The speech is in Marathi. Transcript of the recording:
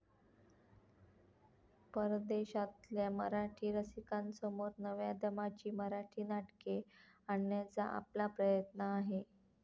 परदेशातल्या मराठी रसिकांसमोर नव्या दमाची मराठी नाटके आणण्याचा आपला प्रयत्न आहे.